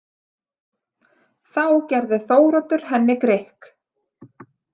Þá gerði Þóroddur henni grikk.